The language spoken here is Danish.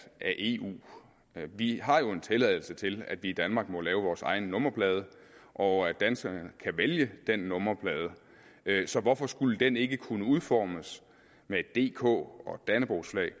af eu vi har jo en tilladelse til at vi i danmark må lave vores egen nummerplade og at danskerne kan vælge den nummerplade så hvorfor skulle den ikke kunne udformes med et dk og et dannebrogsflag